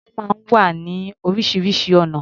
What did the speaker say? Aṣọ máa ń wá ní oríṣiríṣi ọ̀nà.